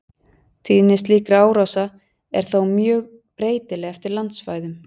Tíðni slíkra árása er þó mjög breytileg eftir landsvæðum.